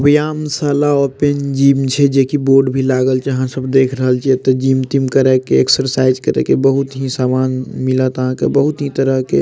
व्यायामशाला open gym छे जे की बोर्ड भी लागल छे यहाँ सब देख रहल छे एते जिम तिम करेके एक्सरसाइज करके बहुत ही सामान मिलता बहुत ही तरह के --